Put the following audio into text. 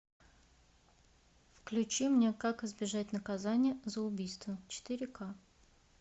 включи мне как избежать наказания за убийство четыре ка